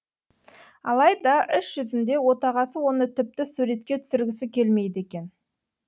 алайда іс жүзінде отағасы оны тіпті суретке түсіргісі келмейді екен